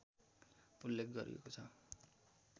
उल्लेख गरिएको छ